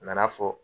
A nana fɔ